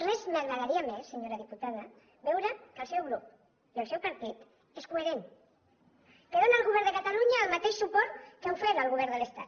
res m’agradaria més senyora diputada que veure que el seu grup i el seu partit són coherents que donen al govern de catalunya el mateix suport que ha ofert al govern de l’estat